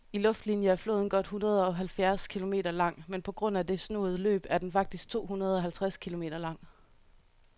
I luftlinie er floden godt hundredeoghalvfjerds kilometer lang, men på grund af det snoede løb er den faktisk tohundredeoghalvtreds kilometer lang.